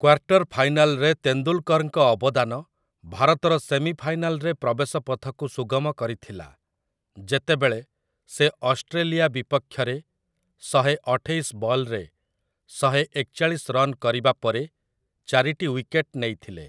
Quarter ଫାଇନାଲରେ ତେନ୍ଦୁଲ୍‌କରଙ୍କ ଅବଦାନ ଭାରତର ସେମିଫାଇନାଲ୍‌ରେ ପ୍ରବେଶପଥକୁ ସୁଗମ କରିଥିଲା, ଯେତେବେଳେ ସେ ଅଷ୍ଟ୍ରେଲିଆ ବିପକ୍ଷରେ ଶହେ ଅଠେଇଶ ବଲ୍‌ରେ ଶହେ ଏକଚାଳିଶ ରନ୍ କରିବାପରେ ଚାରିଟି ୱିକେଟ୍ ନେଇଥିଲେ ।